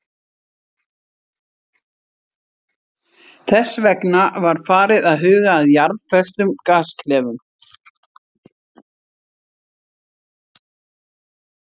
Þess vegna var farið að huga að jarðföstum gasklefum.